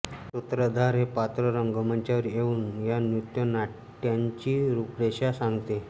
सूत्रधार हे पात्र रंगमंचावर येऊन या नृत्य नाट्याची रूपरेषा सांगते